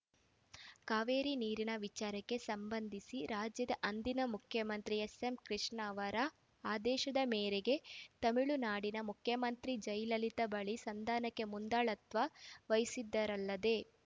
ಕಾವೇರಿ ನೀರಿನ ವಿಚಾರಕ್ಕೆ ಸಂಬಂಧಿಸಿ ರಾಜ್ಯದ ಅಂದಿನ ಮುಖ್ಯಮಂತ್ರಿ ಎಸ್‌ಎಂಕೃಷ್ಣ ಅವರ ಆದೇಶದ ಮೇರೆಗೆ ತಮಿಳುನಾಡಿನ ಮುಖ್ಯಮಂತ್ರಿ ಜಯಲಲಿತಾ ಬಳಿ ಸಂಧಾನಕ್ಕೆ ಮುಂದಾಳತ್ವ ವಹಿಸಿದ್ದರಲ್ಲದೆ